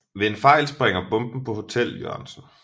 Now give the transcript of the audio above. Ved en fejl springer bomben på Hotel Jørgensen